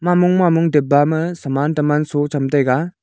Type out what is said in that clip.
ma mong ma mong dipba ma saman teman so cham taiga.